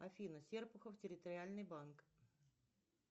афина серпухов территориальный банк